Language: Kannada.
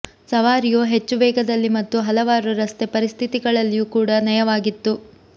ಸವಾರಿಯು ಹೆಚ್ಚು ವೇಗದಲ್ಲಿ ಮತ್ತು ಹಲವಾರು ರಸ್ತೆ ಪರಿಸ್ಥಿತಿಗಳಲ್ಲಿಯೂ ಕೂಡ ನಯವಾಗಿತ್ತು